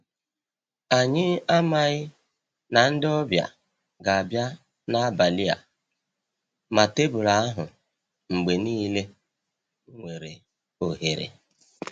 Anyị amaghi na ndị ọbịa ga-abịa n’abalị a, ma tebụlụ ahụ mgbe niile nwere ohere.